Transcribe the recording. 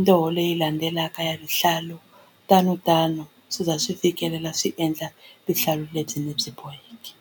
ndzoho leyi landzelaka ya vuhlalu tanotano swi ze swi fikelela swi endla vuhlalu lebyi ni byi boheke.